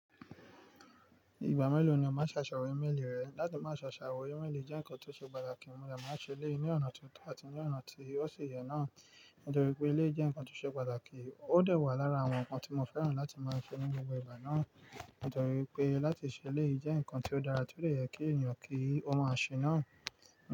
Ìgbà mélòó ni o máa ṣe àṣàwò ímélì rẹ? Láti máa ṣe àṣàwò ímélì jẹ́ nǹkan tó ṣe pàtàkì, mo dà máa ṣe eleyii ní ọ̀nà tó tọ́ àti ní ọ̀nà tí ó si yẹ náà. Nítorí pé ilé jẹ́ nǹkan tó ṣe pàtàkì, ó dẹ̀ wà lára àwọn nǹkan tí mo fẹ́ràn láti máa ṣe nínú gbogbo ìgbà náà. Nítorí pé láti ṣe eléyí jẹ́ nǹkan tí ó dára, tí ó dẹ yẹ kí èeyàn kí ó máa ṣe náà.